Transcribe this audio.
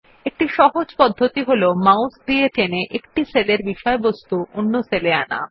একটি সহজ পদ্ধতি হল মাউস দিয়ে টেনে এক সেলের বিষয়বস্তু অন্য সেলে আনা